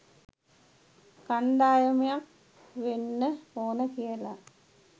කණ්ඩායමක් වෙන්න ඕන කියලා.